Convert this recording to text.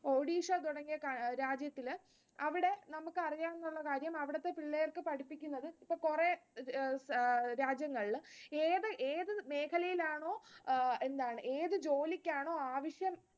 ഒഡീഷ തുടങ്ങിയ രാജ്യത്തില് അവിടെ നമ്മക്ക് അറിയാവുന്നുള്ള കാര്യം അവിടത്തെ പിള്ളേർക്ക് പഠിപ്പിക്കുന്നത് കുറെ രാജ്യങ്ങളിൽ ഏത് ഏത് മേഖലയിലാണോ എന്താണ് ഏത് ജോലിക്കാണോ ആവശ്യം